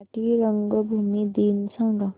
मराठी रंगभूमी दिन सांगा